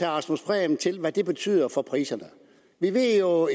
rasmus prehn til hvad det betyder for priserne vi ved jo